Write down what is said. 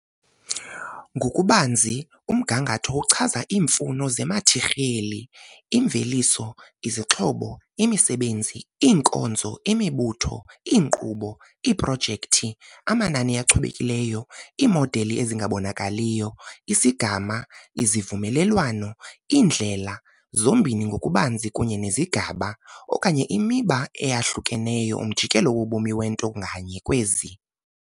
Ngokubanzi, umgangatho uchaza iimfuno zemathiriyeli, imveliso, izixhobo, imisebenzi, iinkonzo, imibutho, imisebenzi, iinkqubo, iiprojekthi, iinkqubo, amanani achubekileyo, iimodeli ezingabonakaliyo, isigama, izivumelwano, iindlela, zombini ngokubanzi kunye nezigaba okanye imiba eyahlukeneyo umjikelo wobomi wento nganye kwezi.